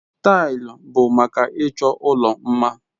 Taịlị bụ maka ịchọ ụlọ mma.